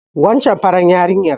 Wancan farar yarinya